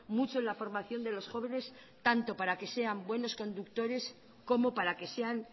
mucho en la formación de los jóvenes tanto como para que sean buenos conductores como para que sean